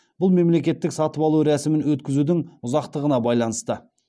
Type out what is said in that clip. бұл мемлекеттік сатып алу рәсімін өткізудің ұзақтығына байланысты